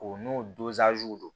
O n'o don